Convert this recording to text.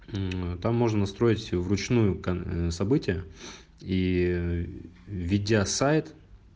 там можно строить всё вручную к события и ведя сайт